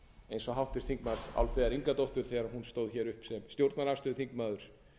eins og háttvirtur álfheiðar ingadóttur þegar hún stóð upp sem stjórnarandstöðuþingmaður